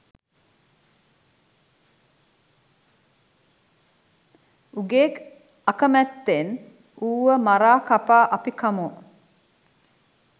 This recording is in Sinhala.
උගේ අකමැත්තෙන් ඌව මරා කපා අපි කමු.